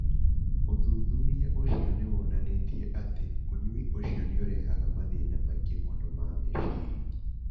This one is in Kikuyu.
Ũthuthuria ũcio nĩ wonanĩtie atĩ ũnyui ũcio nĩ ũrehaga mathĩna maingĩ mũno ma meciria.